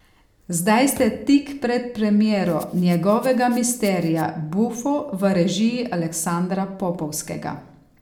Zdaj ste tik pred premiero njegovega Misterija buffo v režiji Aleksandra Popovskega.